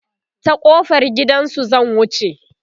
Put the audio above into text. ta kofar gidansu zan wuce